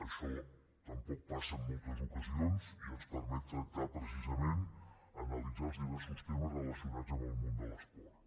això tampoc passa en moltes ocasions i ens permet tractar precisament analitzar els diversos temes relacionats amb el món de l’esport